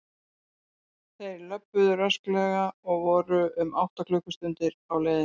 Þeir löbbuðu rösklega og voru um átta klukkustundir á leiðinni.